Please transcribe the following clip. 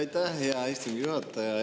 Aitäh, hea istungi juhataja!